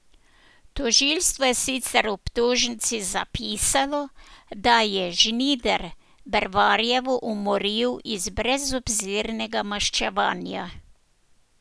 Tožilstvo je sicer v obtožnici zapisalo, da je Žnidar Bervarjevo umoril iz brezobzirnega maščevanja.